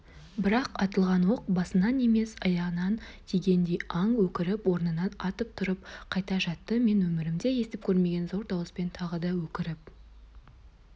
бірақ атылған оқ басынан емес аяғынан тигендей аң өкіріп орнынан атып тұрып қайта жатты мен өмірімде естіп көрмеген зор дауыспен тағы да өкіріп